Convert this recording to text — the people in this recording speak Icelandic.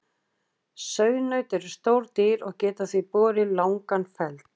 Sauðnaut eru stór dýr og geta því borið langan feld.